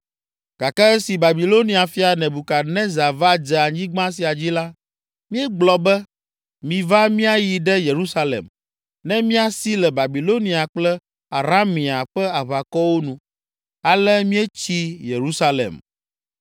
Gake esi Babilonia fia, Nebukadnezar va dze anyigba sia dzi la, míegblɔ be, ‘Miva míayi ɖe Yerusalem, ne míasi le Babilonia kple Aramea ƒe aʋakɔwo nu.’ Ale míetsi Yerusalem.”